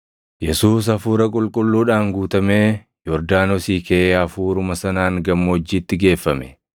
Yesuus Hafuura Qulqulluudhaan guutamee Yordaanosii kaʼee Hafuuruma sanaan gammoojjiitti geeffame;